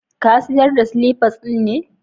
Ka sayar da silifas din ne?